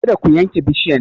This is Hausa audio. Kada ku yanke bishiyan!